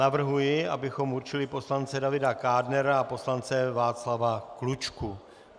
Navrhuji, abychom určili poslance Davida Kádnera a poslance Václava Klučku.